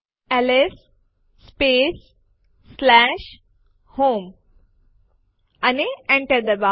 LS space home અને Enter ડબાઓ